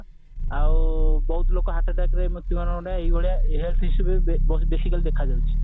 ଆଉ ବହୁତ ଲୋକ heart attackରେ ମୃତ୍ୟୁ ବୋରଣ ମାନେ ଏଇଭଳିଆ health issue basically ଦେଖାଯାଉଛି